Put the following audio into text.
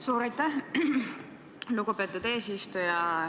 Suur aitäh, lugupeetud eesistuja!